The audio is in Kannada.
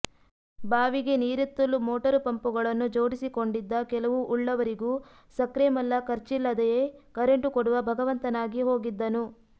ಬಾವಿಗೆ ನೀರೆತ್ತಲು ಮೋಟರು ಪಂಪುಗಳನ್ನು ಜೋಡಿಸಿಕೊಂಡಿದ್ದ ಕೆಲವು ಉಳ್ಳವರಿಗೂ ಸಕ್ರೆಮಲ್ಲ ಖರ್ಚಿಲ್ಲದೆಯೇ ಕರೆಂಟು ಕೊಡುವ ಭಗವಂತನಾಗಿ ಹೋಗಿದ್ದನು